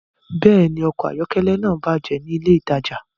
Bẹ́ẹ̀ni, ọkọ̀ ayọ́kẹ́lẹ́ náà bàjẹ́ ní ilé-ìtajà.